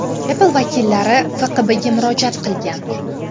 Apple vakillari FQBga murojaat qilgan.